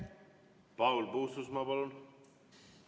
Paul Puustusmaa, palun!